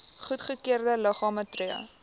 goedgekeurde liggame tree